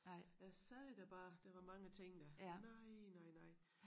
Jeg siger dig bare der var mange ting dér nej nej nej